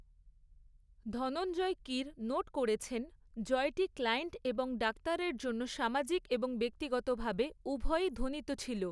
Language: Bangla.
ধনঞ্জয় কির নোট করেছেন, জয়টি ক্লায়েন্ট এবং ডাক্তারের জন্য সামাজিক এবং ব্যক্তিগতভাবে উভয়ই ধ্বনিত ছিল।